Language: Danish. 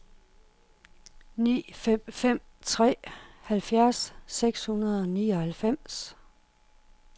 ni fem fem tre halvfjerds seks hundrede og nioghalvfems